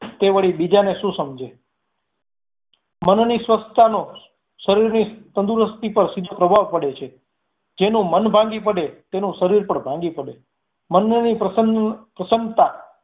તે વળી બીજાને શું સમજે મનની સ્વસ્થતા નો શરીર ની તંદુરસ્તી પર સીધો પ્રભાવ પડે છે જેનું મન ભાંગી પડે એનું શરીર પણ ભાંગી પડે મનની પ્રસન્નતાં